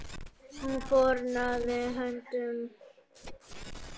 Hún fórnaði höndum.